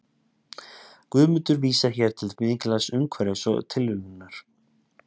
guðmundur vísar hér til mikilvægis umhverfis og tilviljunar